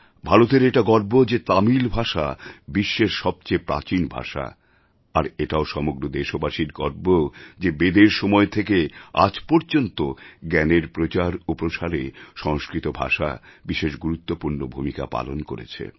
ভারতের এটা গর্ব যে তামিল ভাষা বিশ্বের সবচেয়ে প্রাচীন ভাষা আর এটাও সমগ্র দেশবাসীর গর্ব যে বেদের সময় থেকে আজ পর্যন্ত জ্ঞানের প্রচার ও প্রসারে সংস্কৃত ভাষা বিশেষ গুরুত্বপূর্ণ ভূমিকা পালন করেছে